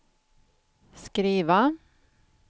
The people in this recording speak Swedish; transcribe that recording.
skriva